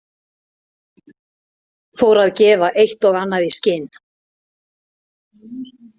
Fór að gefa eitt og annað í skyn.